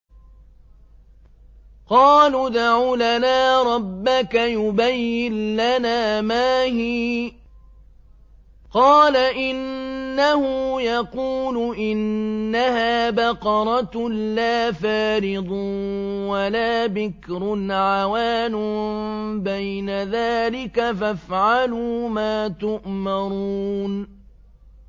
قَالُوا ادْعُ لَنَا رَبَّكَ يُبَيِّن لَّنَا مَا هِيَ ۚ قَالَ إِنَّهُ يَقُولُ إِنَّهَا بَقَرَةٌ لَّا فَارِضٌ وَلَا بِكْرٌ عَوَانٌ بَيْنَ ذَٰلِكَ ۖ فَافْعَلُوا مَا تُؤْمَرُونَ